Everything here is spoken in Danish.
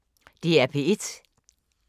DR P1